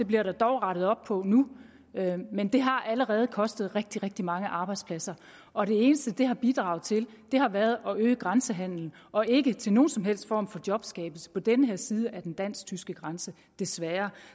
bliver der dog rettet op på nu men det har allerede kostet rigtig rigtig mange arbejdspladser og det eneste det har bidraget til har været at øge grænsehandelen og ikke til nogen som helst form for jobskabelse på den her side af den dansk tyske grænse desværre